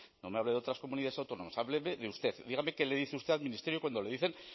no me hable de otras comunidades autónomas hábleme de usted dígame qué le dice usted al ministerio cuando le dicen